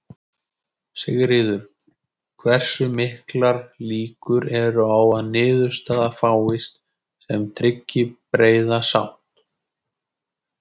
Sigríður: Hversu miklar líkur eru á að niðurstaða fáist sem tryggi breiða sátt?